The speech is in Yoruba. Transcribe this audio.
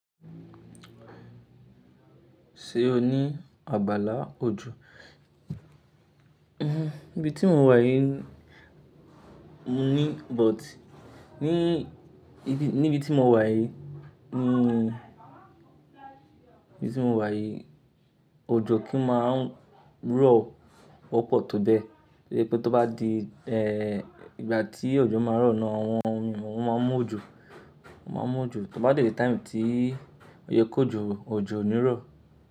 Ṣé o ní abala òjò? Níbi tí mo wà yìí mo ní, but ní ibi, níbi tí mo wà yìí, níbi tí mo wà yìí, òjò kì í máa ń rọ̀ wọ́pọ̀ tó bẹ́ẹ̀. Ó yẹ pé tó bá di ìgbà tí òjò máa ń rọ̀ náà, àwọn ènìyàn wọ́n máa ń mú òjò, wọ́n máa ń mú òjò. Tó bá dé ìgbà tí ó yẹ kó ju òjò ní rọ̀.